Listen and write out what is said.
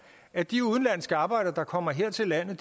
at de udenlandske arbejdere der kommer her til landet